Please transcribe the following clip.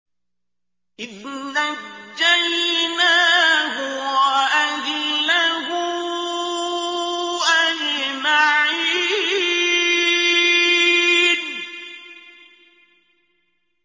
إِذْ نَجَّيْنَاهُ وَأَهْلَهُ أَجْمَعِينَ